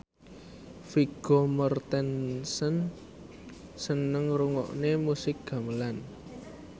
Vigo Mortensen seneng ngrungokne musik gamelan